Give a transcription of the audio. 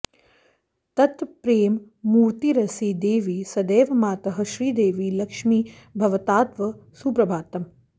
तत्प्रेममूर्तिरसि देवि सदैव मातः श्रीदेवि लक्ष्मि भवतात्तव सुप्रभातम्